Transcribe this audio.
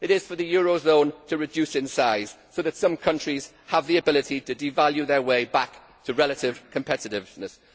It is for the eurozone to reduce in size so that some countries have the ability to devalue their way back to relative competitiveness.